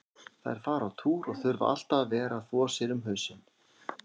Þær fara á túr og þurfa alltaf að vera að þvo sér um hausinn.